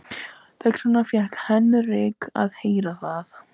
Þess vegna fékk Henrik að heyra það.